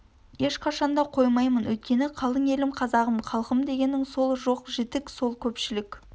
ешқашанда қоймаймын өйткені қалың елім қазағым халқым дегенім сол жоқ-жітік сол көпшілік